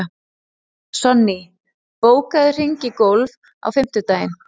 Sonný, bókaðu hring í golf á fimmtudaginn.